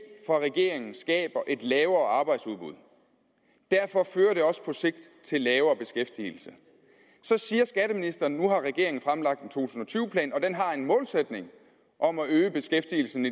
fra regeringen skaber et lavere arbejdsudbud derfor fører det også på sigt til lavere beskæftigelse så siger skatteministeren nu har regeringen fremlagt en to tusind og tyve plan og den har en målsætning om at øge beskæftigelsen